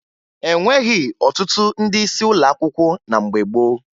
E nweghi ọtụtụ ndị isi ụlọ akwụkwọ na mgbe gboo